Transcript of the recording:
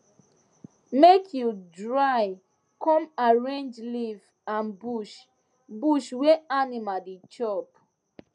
make you dry com arrange leave and bush bush wey animal dey chop